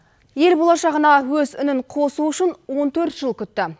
ел болашағына өз үнін қосу үшін он төрт жыл күтті